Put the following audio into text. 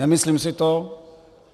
Nemyslím si to.